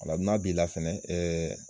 Nga n'a b'i la fɛnɛ